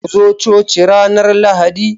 Ku zo coci ranar Lahadi